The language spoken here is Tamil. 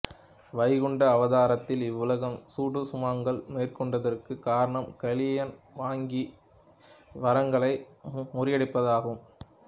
வைகுண்ட அவதாரத்தில் இவ்வளவு சூட்சுமங்கள் மேற்கொண்டதற்கு காரணம் கலியன் வாங்கிய வரங்களை முறியடிப்பதற்காகவே